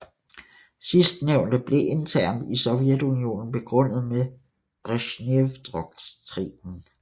Sidstnævnte blev internt i Sovjetunionen begrundet med Brezjnevdoktrinen